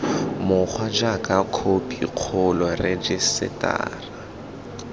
mokgwa jaaka khophi kgolo rejisetara